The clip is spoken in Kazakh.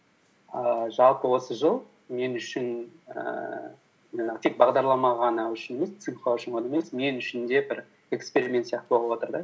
ііі жалпы осы жыл мен үшін ііі жаңағы тек бағдарлама ғана үшін емес цинхуа үшін ғана емес мен үшін де бір эксперимент сияқты болып отыр да